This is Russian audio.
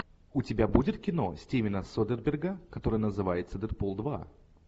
у тебя будет кино стивена содерберга которое называется дэдпул два